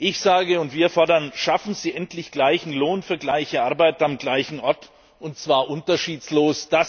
Ich sage und wir fordern Schaffen Sie endlich gleichen Lohn für gleiche Arbeit am gleichen Ort, und zwar unterschiedslos!